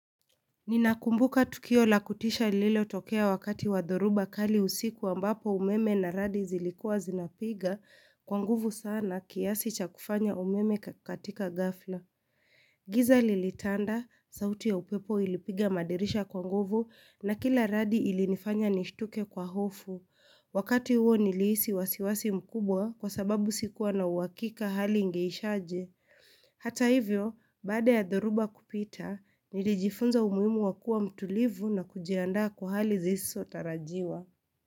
Ninakumbuka tukio la kutisha lilo tokea wakati wadhoruba kali usikuwa ambapo umeme na radi zilikua zinapiga kwa nguvu sana kiasi cha kufanya umeme katika gafla. Giza lilitanda, sauti ya upepo ilipiga madirisha kwa nguvu na kila radi ilinifanya nishtuke kwa hofu. Wakati uo nilisi wasiwasi mkubwa kwa sababu sikuwa na uwakika hali ingeishaje. Hata hivyo, bada ya dharuba kupita, nilijifunza umuimu wakua mtulivu na kujiandaa kwa hali zisotarajiwa.